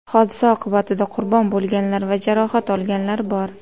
Hodisa oqibatida qurbon bo‘lganlar va jarohat olganlar bor.